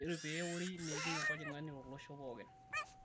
Kejitoi pee eori neeti enkojing'ani tolosho pookin